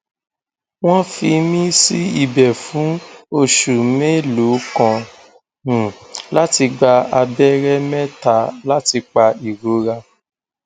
wọn fi mí sí ibẹ fún oṣù mélòó kan um láti gba abẹrẹ mẹta láti pa ìrora